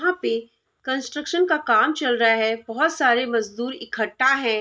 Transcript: यहाँ पे कंस्ट्रक्शन का काम चल रहा है बहोत सारे मजदूर इकट्ठा हैं।